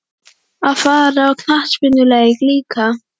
Að fara á knattspyrnuleik líka?